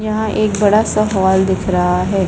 यहाँ एक बड़ा-सा हॉल दिख रहा हैं ।